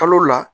Kalo la